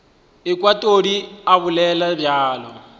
ekwa todi a bolela bjalo